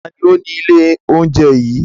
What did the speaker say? Ta ni ó ni ilé-oúnjẹ yìí?